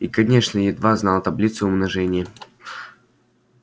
и конечно едва знала таблицу умножения